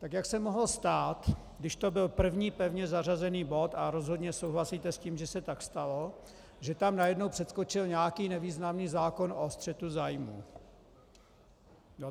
Tak jak se mohlo stát, když to byl první pevně zařazený bod, a rozhodně souhlasíte s tím, že se tak stalo, že tam najednou přeskočil nějaký nevýznamný zákon o střetu zájmů?